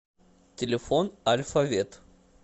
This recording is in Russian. телефон альфа вет